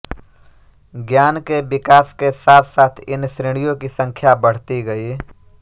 ज्ञान के विकास के साथ साथ इन श्रेणियों की संख्या बढ़ती गई